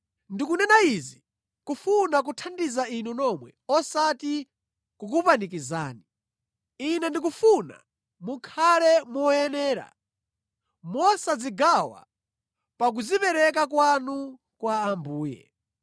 Ndikunena izi kufuna kuthandiza inu nomwe osati kukupanikizani. Ine ndikufuna mukhale moyenera mosadzigawa pa kudzipereka kwanu kwa Ambuye.